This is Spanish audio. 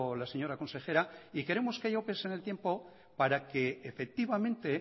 la señora consejera y queremos que haya opes en el tiempo para que efectivamente